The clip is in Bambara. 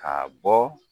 Ka bɔ